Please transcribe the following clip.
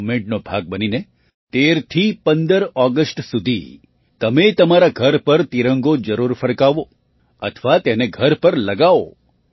આ મૂવમેન્ટ નો ભાગ બનીને ૧૩થી ૧૫ ઑગસ્ટ સુધી તમે તમારા ઘર પર તિરંગો જરૂર ફરકાવો અથવા તેને ઘર પર લગાવો